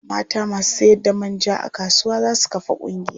Mata masu sayarda man ja a kasuwa za su kafa ƙungiya.